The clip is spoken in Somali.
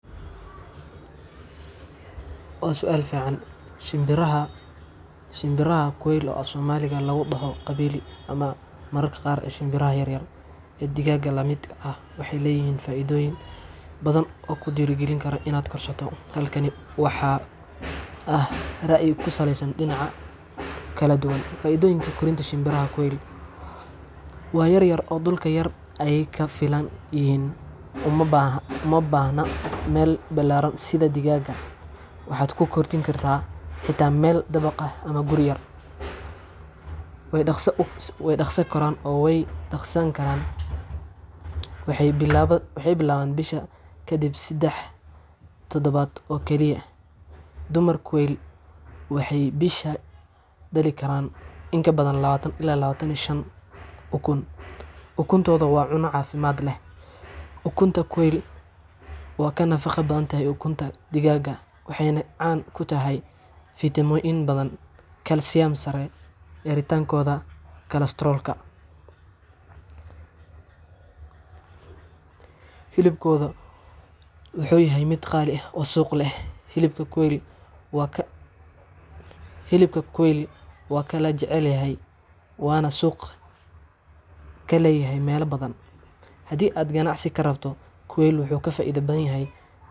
Waa su'aal fiican! Shimbiraha quailka oo af Soomaali lagu dhaho kabili ama mararka qaar "shinbiraha yaryar ee digaagga la midka ah" waxay leeyihiin faa'iidooyin badan oo ku dhiirrigelin kara in la korsado. Halkan waxaa ah rayi ku saleysan dhinacyo kala duwan:aa’iidooyinka Korinta Shimbiraha Quail:Waa Yaryar oo Dhulka Yar Ayay Kaga Filan YihiinUma baahna meel ballaaran sida digaagga. Waxaad ku kori kartaa xitaa meel dabaq ah ama guri yar leh. Way Dhakhso U Koraan oo Way Dhakhsadaan U DhexlayaanWaxay bilaabaan dhasha kaddib lix toddobaad oo kaliya! Dumarka quail-ka waxay bishiiba dhali karaan in ka badan ukun. Ukuntooda Waa Cunto Caafimaad leh Ukunta quail waa ka nafaqo badan tahay ukunta digaagga, waxayna caan ku tahay:Faytamiino bad Kalsiyum sare Yaraanta kolestaroolkaHilibkooda Wuu Yahay mid Qaali ah oo Suuq leh Hilibka quail-ka waa la jecel yahay waana suuq ka leh meelo badan. Haddii aad ganacsi ka rabto, quail-ka wuu faa'iido badan yahay marka loo eego xoolaha kale ee yaryar. Xanaanadooda Waa Fududahay Cunto yar ayay cunaan.